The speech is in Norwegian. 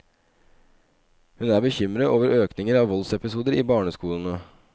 Hun er bekymret over økningen av voldsepisoder i barneskolene.